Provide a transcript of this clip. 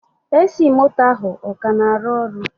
AC moto a, ọ ka na-arụ ọrụ?